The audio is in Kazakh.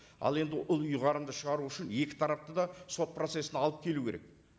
ал енді ол ұйғарымды шығару үшін екі тарапты да сот процессіне алып келу керек